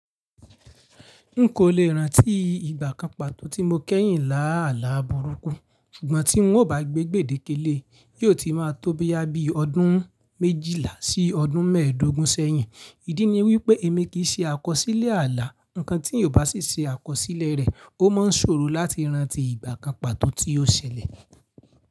N kò le rántí ìgbà kan pàtó tí mo kẹ́yìn lá àlá burúkú, ṣùgbọ́n tí n ò bá gbé gbèdéke lé e, yóò ti máa tóbi yá bí i ọdún méjìlá sí ọdún mẹ́ẹ̀dógún sẹ́yìn. Idí ni wípé èmi kì í ṣe àkọsílẹ̀ ààlà. Ǹkan tí èèyàn bá sì ṣe àkọsílẹ̀ rẹ̀, o máa ń ṣòro láti rántí ìgbà kan pàtó tí o ṣẹlẹ̀.